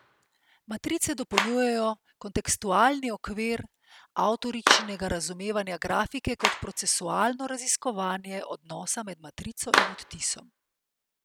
Matrice dopolnjujejo kontekstualni okvir avtoričinega razumevanja grafike kot procesualno raziskovanje odnosa med matrico in odtisom.